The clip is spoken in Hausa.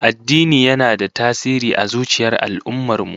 Addini yana da tasiri a zuciyar al'ummar mu